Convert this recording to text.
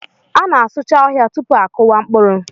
A na-asụcha ọhịa tupu a kụwa mkpụrụ.